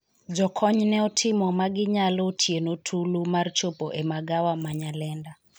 jokony ne otimo maginyalo otieno tulu mar chopo e magawa ma Nyalenda,